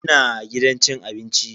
Ina gidan cin abinci.